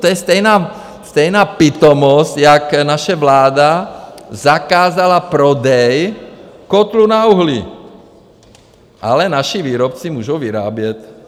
To je stejná pitomost jako naše vláda zakázala prodej kotlů na uhlí, ale naši výrobci můžou vyrábět.